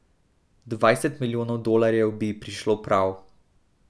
Dvajset milijonov dolarjev bi ji prišlo prav.